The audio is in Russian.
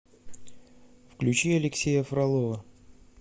включи алексея фролова